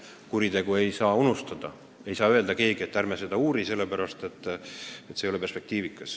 Kuritegu ei tohi unustada, keegi ei tohi öelda, et ärme seda uurime, sest see ei ole perspektiivikas.